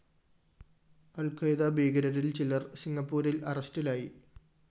Al Qaeda ഭീകരരില്‍ ചിലര്‍ സിംഗപ്പൂരില്‍ അറസ്റ്റിലായി